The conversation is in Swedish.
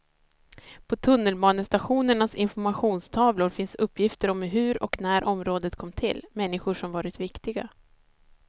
På tunnelbanestationernas informationstavlor finns uppgifter om hur och när området kom till, människor som varit viktiga.